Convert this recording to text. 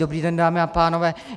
Dobrý den, dámy a pánové.